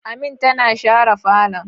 Amin tana share falon